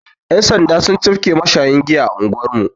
Yan' sanda sun cafke mashayin giya a anguwar mu.